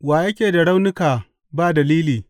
Wa yake da raunuka ba dalili?